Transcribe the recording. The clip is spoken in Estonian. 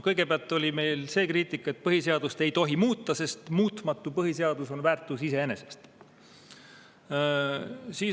Kõigepealt oli see kriitika, et põhiseadust ei tohi muuta, sest muutumatu põhiseadus on väärtus iseeneses.